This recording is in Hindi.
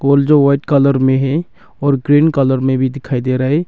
और जो व्हाइट कलर में है और ग्रीन कलर में भी दिखाई दे रहा है।